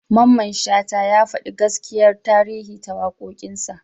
Mamman Shata ya faɗi gaskiyar tarihi ta waƙoƙinsa.